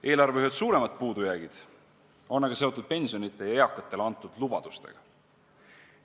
Eelarve ühed suuremad puudujäägid on aga seotud pensionidega ja eakatele antud lubadustega.